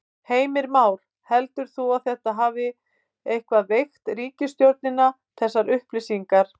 Heimir Már: Heldur þú að þetta hafi eitthvað veikt ríkisstjórnina þessar upplýsingar?